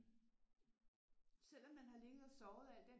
Selvom man har ligget og sovet al den